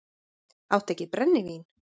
Áttu ekki brennivín?